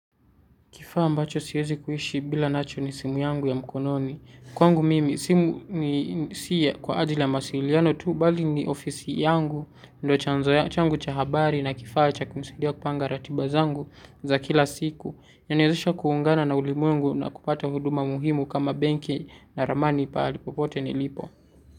Kifaa mbacho siwezi kuishi bila nacho ni simu yangu ya mkononi. Kwangu mimi, simu si ya kwa ajili ya masili. Jano tu, bali ni ofisi yangu, ndo changu cha habari na kifaa cha kumisidia kupanga ratibazangu za kila siku. Nya nyozisha kuungana na ulimuengu na kupata huduma muhimu kama benke na ramani palipopote nilipo.